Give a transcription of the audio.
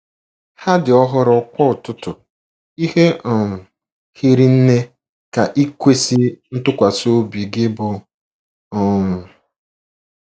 Ha dị ọhụrụ kwa ụtụtụ; ihe um hiri nne ka ikwesị ntụkwasị obi Gị bụ. um ”